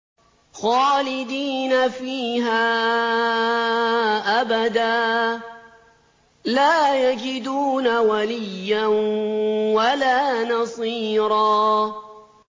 خَالِدِينَ فِيهَا أَبَدًا ۖ لَّا يَجِدُونَ وَلِيًّا وَلَا نَصِيرًا